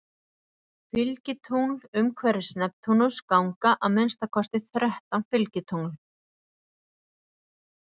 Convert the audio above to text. Fylgitungl Umhverfis Neptúnus ganga að minnsta kosti þrettán fylgitungl.